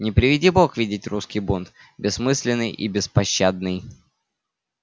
не приведи бог видеть русский бунт бессмысленный и беспощадный